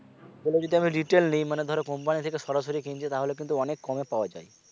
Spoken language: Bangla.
ওগুলো যদি আমি retail নেই মানে ধরো company থেকে সরাসরি কিনছে তাহলে কিন্তু অনেক কমে পাওয়া যায়